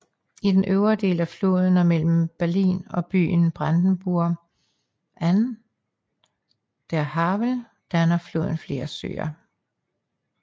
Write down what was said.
I den øvre del af floden og mellem Berlin og byen Brandenburg an der Havel danner floden flere søer